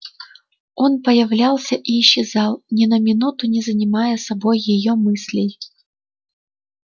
он появлялся и исчезал ни на минуту не занимая собой её мыслей